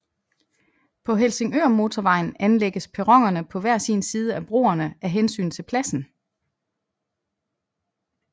På Helsingørmotorvejen anlægges perronerne på hver sin side af broerne af hensyn til pladsen